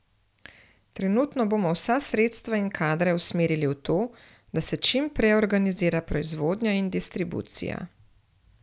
Trenutno bomo vsa sredstva in kadre usmerili v to, da se čim prej organizira proizvodnja in distribucija.